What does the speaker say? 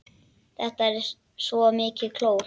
Þetta er svo mikið klór.